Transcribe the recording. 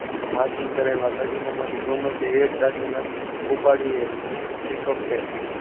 તો Marking કરેલા દાગીના માંથી ગમે તે એક દાગીના ઉપાડીએ pickup કહેવાય.